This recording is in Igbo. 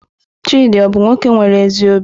Chidi ọ bu nwoke nwere ezi obi?